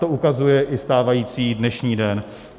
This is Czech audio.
To ukazuje i stávající dnešní den.